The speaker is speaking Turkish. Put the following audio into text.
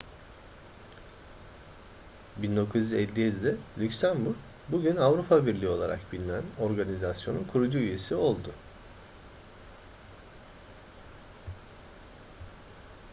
1957'de lüksemburg bugün avrupa birliği olarak bilinen organizasyonun kurucu üyesi oldu